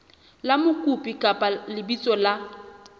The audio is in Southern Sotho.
la mokopi kapa lebitso la